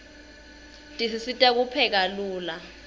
tisisita kupheka lula